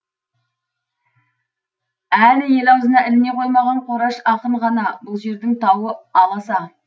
әлі ел аузына іліне қоймаған қораш ақын ғана бұл жердің тауы аласа